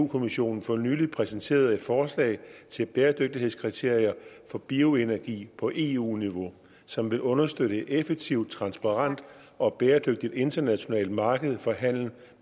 kommissionen for nylig præsenterede et forslag til bæredygtighedskriterier for bioenergi på eu niveau som vil understøtte et effektivt transparent og bæredygtigt internationalt marked for handel